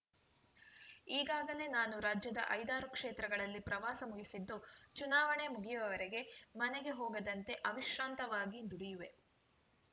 ಈಗಾಗಲೇ ನಾನು ರಾಜ್ಯದ ಐದಾರು ಕ್ಷೇತ್ರಗಳಲ್ಲಿ ಪ್ರವಾಸ ಮುಗಿಸಿದ್ದು ಚುನಾವಣೆ ಮುಗಿಯುವವರೆಗೆ ಮನೆಗೆ ಹೋಗದಂತೆ ಅವಿಶ್ರಾಂತವಾಗಿ ದುಡಿಯುವೆ